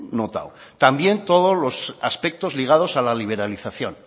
notado también todos los aspectos ligados a la liberalización